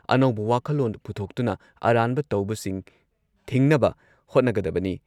ꯑꯅꯧꯕ ꯋꯥꯈꯜꯂꯣꯟ ꯄꯨꯊꯣꯛꯇꯨꯅ ꯑꯔꯥꯟꯕ ꯇꯧꯕꯁꯤꯡ ꯊꯤꯡꯅꯕ ꯍꯣꯠꯅꯒꯗꯕꯅꯤ ꯫